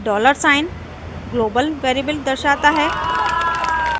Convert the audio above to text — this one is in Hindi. $ ग्लोबल वेरिएबल दर्शाता है